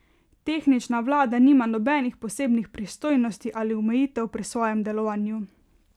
Tehnična vlada nima nobenih posebnih pristojnosti ali omejitev pri svojem delovanju.